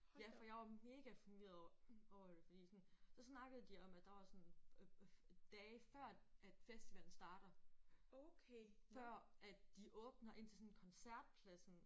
Ja for jeg var mega forvirret over over det fordi sådan så snakkede de om at der var sådan øh øh dage før at festivalen starter før at de åbner ind til sådan koncertpladsen